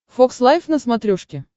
фокс лайф на смотрешке